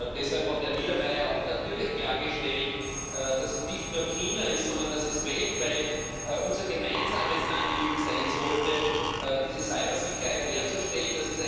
Deshalb hat Herr Niedermayer natürlich auch klargestellt, dass es nicht nur China ist, sondern dass es weltweit unser gemeinsames Anliegen sein sollte, diese Cybersicherheit herzustellen